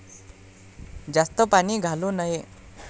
जास्त पाणी घालू नये.